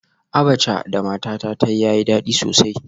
Abacha da matata ta yi yayi dadi sosai